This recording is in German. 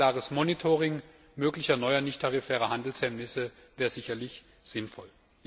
Ein klares Monitoring möglicher neuer nichttarifärer Handelshemmnisse wäre sicherlich sinnvoll.